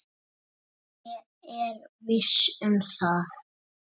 Og það berst.